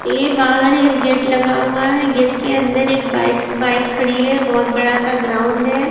ये बाहर एक गेट लगा हुआ है गेट के अंदर एक बाइक बाइक खड़ी है बहोत बड़ा सा ग्राउंड है।